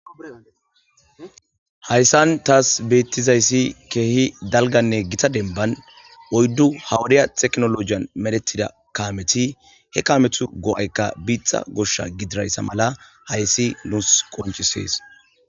Hayssan taas beettizayssi keehi dalganne gita denban oyddu hawadiya teknolojiyan medetida kameti he kametu go7aykka biitha gosha gidirayssa mala hayssi nuus qonchisees.